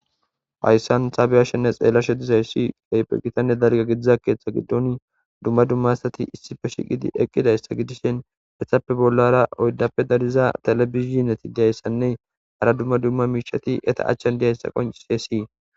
Haysan ta be'ashenne xelashe dizaysi Keehippe gitanne dalga gidiza ketha gidon dumma dumma asati issippe shiiqid eqidaysa gidishn etappe bollara oyddappe dariya televisionet diyaysannne hara dumma dumma miisheti eta achani diyaysa qoncisesi.